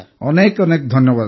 ଅନେକ ଅନେକ ଧନ୍ୟବାଦ